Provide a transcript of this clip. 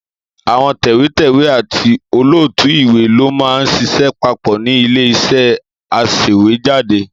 Àwọn tẹ̀wétẹ̀wé àti olótùú ìwé ló máa ń ṣiṣẹ́ papọ̀ ni ilé-iṣẹ́ aṣèwéjádé.